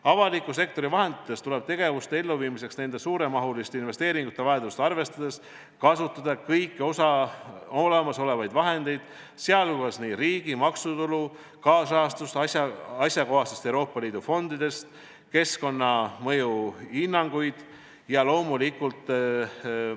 Avaliku sektori vahenditest tuleb tegevuste elluviimiseks nende suuremahuliste investeeringute vajadust arvestades kasutada kõiki olemasolevaid vahendeid, sh riigi maksutulu, kaasrahastust asjakohastest Euroopa Liidu fondidest, keskkonnamõju hinnanguid ja loomulikult ...